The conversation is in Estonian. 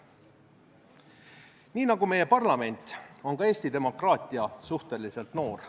Nii nagu meie parlament, on ka Eesti demokraatia suhteliselt noor.